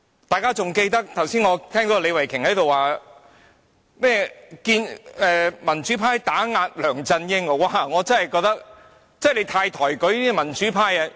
我剛才聽到李慧琼議員說民主派打壓梁振英，她真的太抬舉民主派。